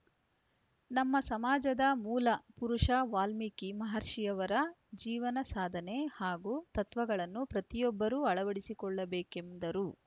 ನಮ್ಮ ಸಮಾಜದ ಮೂಲ ಪುರುಷ ವಾಲ್ಮೀಕಿ ಮಹರ್ಷಿಯವರ ಜೀವನ ಸಾಧನೆ ಹಾಗೂ ತತ್ವಗಳನ್ನು ಪ್ರತಿಯೊಬ್ಬರು ಅಳವಡಿಸಿಕೊಳ್ಳ ಬೇಕೆಂದರು